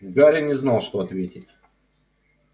гарри не знал что ответить